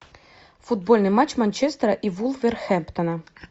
футбольный матч манчестера и вулверхэмптона